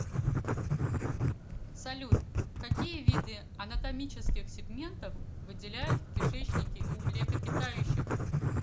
салют какие виды анатомических сегментов выделяют в кишечнике у млекопитающих